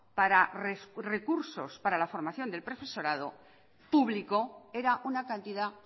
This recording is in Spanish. para recursos para la formación del profesorado público era una cantidad